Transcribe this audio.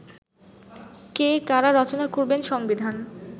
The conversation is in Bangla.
কে, কারা রচনা করবেন সংবিধান